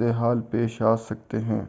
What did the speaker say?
حالات پیش آسکتے ہیں